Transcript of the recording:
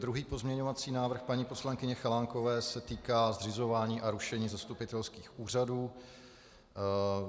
Druhý pozměňovací návrh paní poslankyně Chalánkové se týká zřizování a rušení zastupitelských úřadů.